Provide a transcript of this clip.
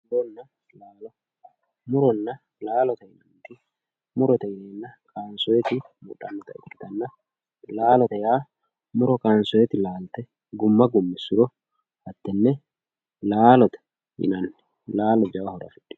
muronna laalo muronna laalote yinaniti murote yinayiiti kaansooyiiti ikkitanna laalote yinanniti muro kaansooyiiti laalte gumma gummissuro laalote yinanni laalo jawa horo afidhino